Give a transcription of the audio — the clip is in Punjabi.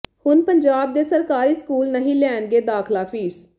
ਹੁਣ ਪੰਜਾਬ ਦੇ ਸਰਕਾਰੀ ਸਕੂਲ ਨਹੀਂ ਲੈਣਗੇ ਦਾਖਲਾ ਫੀਸ